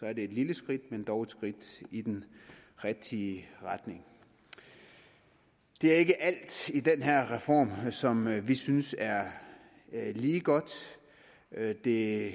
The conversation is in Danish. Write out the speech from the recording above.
er det et lille skridt men dog et skridt i den rigtige retning det er ikke alt i den her reform som vi synes er lige godt det